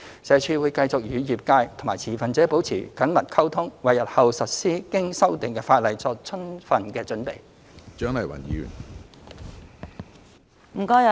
社署會繼續與業界和持份者保持緊密溝通，為日後實施經修訂的法例作充分準備。